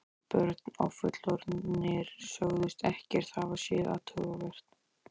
Börn og fullorðnir sögðust ekkert hafa séð athugavert.